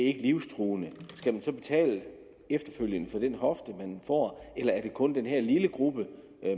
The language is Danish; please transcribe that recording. ikke livstruende skal man så betale efterfølgende for den hofte man får eller er det kun den her lille gruppe